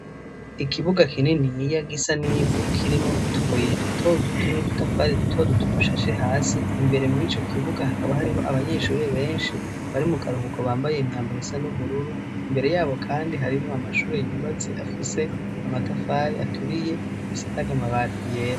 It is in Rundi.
Ikibuga kininiya gisa n'ivu kirimwo utubuye dutoduto n'udutafari dutoduto dushashe hasi, imbere mw'icokibuga hakaba hariho abanyeshure benshi bari mukaruhuko bambaye imyambaro isa n'ubururu imbere yabo kandi hariho amashure yubatse afise amatafari aturiye asakaje amabati yera.